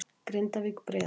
Grindavík- Breiðablik